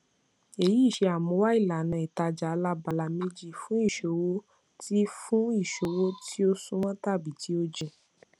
èyí ṣe àmúwá ìlànà ìtajà alábala méjì fún ìṣòwò tí fún ìṣòwò tí ó súnmọ tàbí tí ó jìn